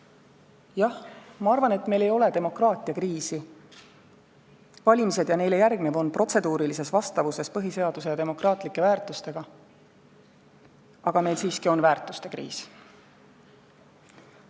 Jah, ma arvan, et meil ei ole demokraatia kriisi – valimised ja neile järgnev on protseduurilises vastavuses põhiseaduse ja demokraatlike väärtustega –, aga meil on siiski väärtuste kriis.